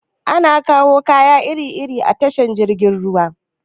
Ana kawo kaya iri iri a tashar jirgin ruwa.